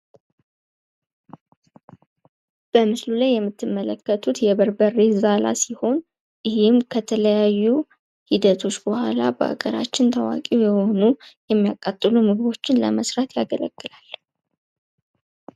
በምስሉ ላይ የምትመለከቱት የበርበሬ ዛላ ሲሆን ይሄም ከተለያዩ ሂደቶች በኃላ በሀገራችን ታዋቂ የሆኑ የሚያቃጥሉ ምግቦችን ለመስራት ያገለግላል ።